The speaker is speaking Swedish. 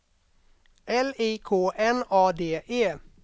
L I K N A D E